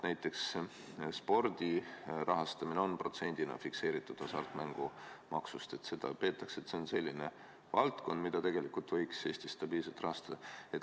Näiteks, spordi rahastamine on fikseeritud protsendina hasartmängumaksust ja seda peetakse selliseks valdkonnaks, mida võiks Eestis stabiilselt rahastada.